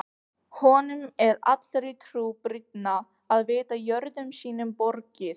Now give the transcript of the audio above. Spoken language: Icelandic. Honum er allri trú brýnna að vita jörðum sínum borgið.